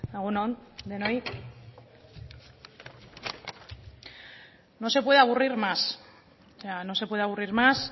egun on denoi no se puede aburrir más o sea no se puede aburrir más